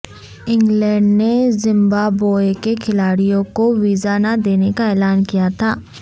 England نے Zimbabwe کے کھلاڑیوں کو ویزا نہ دینے کا اعلان کیا تھا